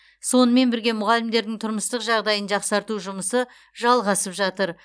сонымен бірге мұғалімдердің тұрмыстық жағдайын жақсарту жұмысы жалғасып жатыр